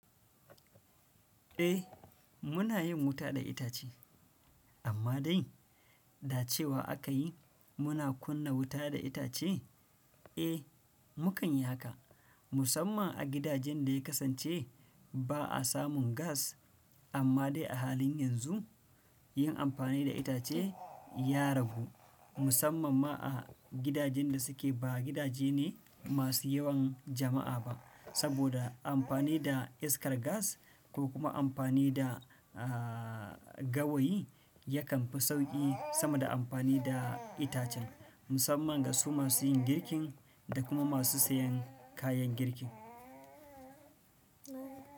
Eh muna yin wuta da itace amma dai da cewa aka yi muna kunna wuta da itace. Eh mu kanyi haka musamman a gidajen da ya kasance ba a samun gas amma dai a halin yanzu yin amfani da itace ya ragu musamman ma a gidajen da suke ba gidaje ne masu yawan jama'a ba saboda amfani da iskar gas ko kuma amfani da, ah, gawayi yakan fi sauƙi sama da amfani da itacen musamman ga su masu yin girkin da kuma masu sayan kayan girkin.